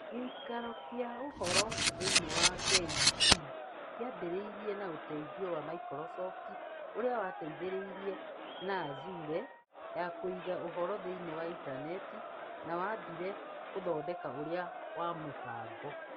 Gĩikaro kĩa ũhoro thĩinĩ wa KEC kĩambĩrĩirio na ũteithio wa Microsoft, ũrĩa wateithĩrĩirie na Azure ya kũiga ũhoro thĩinĩ wa intaneti, na waambire gũthondeka ũira wa mũbango